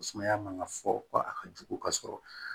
Sumaya man ka fɔ ko a ka jugu ka sɔrɔ